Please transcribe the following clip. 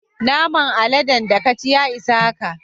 Naman aladen da ka ci, ya isa haka.